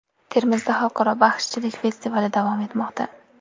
Termizda xalqaro baxshichilik festivali davom etmoqda.